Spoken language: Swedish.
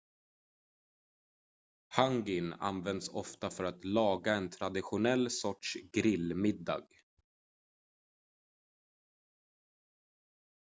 hangin används ofta för att laga en traditionell sorts grill-middag